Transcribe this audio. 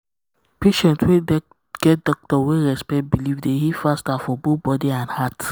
patient wey get um doctor um wey respect belief dey heal um faster for both body and heart.